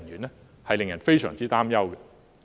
這也令人非常擔憂。